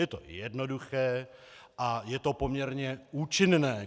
Je to jednoduché a je to poměrně účinné.